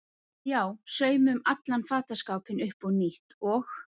Já, saumum allan fataskápinn upp á nýtt og.